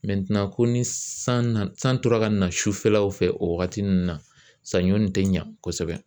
ko ni san nana san tora ka na sufɛlaw fɛ, o wagati ninnu na, sanɲɔ nin tɛ ɲa kosɛbɛ.